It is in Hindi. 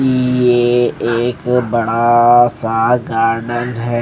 ये एक बड़ा सा गार्डन है।